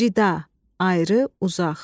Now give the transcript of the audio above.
Cida, ayrı, uzaq.